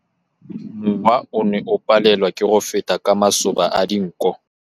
Mowa o ne o palelwa ke go feta ka masoba a dinko.